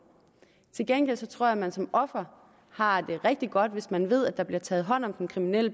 til gengæld tror jeg at man som offer har det rigtig godt hvis man ved at der bliver taget hånd om den kriminelle